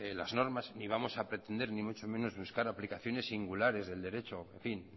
las normas ni vamos a pretender ni mucho menos buscar aplicaciones singulares de derechos